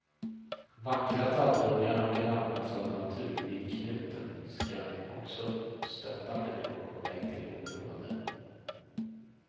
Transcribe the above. Vackra talldungar och en anpassad natur vid knuten skall också stötta människor på väg till oberoende.